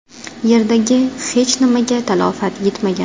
Yerdagi hech nimaga talafot yetmagan.